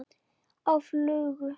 Á flugu?